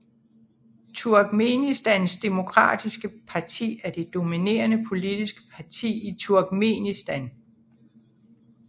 Turkmenistans demokratiske parti er det dominerende politiske parti i Turkmenistan